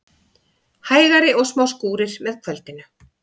Hægari og smá skúrir með kvöldinu